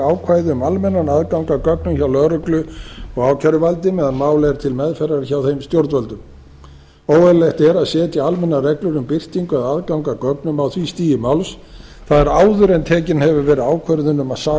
um almennan aðgang að gögnum hjá lögreglu og ákæruvaldi meðan mál er til meðferðar hjá þeim stjórnvöldum óeðlilegt er að setja almennar reglur um birtingu eða aðgang að gögnum á því stigi máls það er áður en tekin hefur verið ákvörðun um saksókn